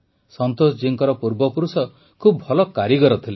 ସନ୍ତୋଷ ଜୀ ଙ୍କ ପୂର୍ବପୁରୁଷ ଖୁବ ଭଲ କାରିଗର ଥିଲେ